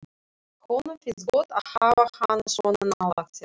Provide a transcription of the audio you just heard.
Honum finnst gott að hafa hana svona nálægt sér.